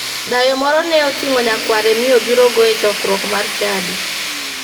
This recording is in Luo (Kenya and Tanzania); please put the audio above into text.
Dayo moro ne oting'o nyakware mi obirogo e choruok mar chadi.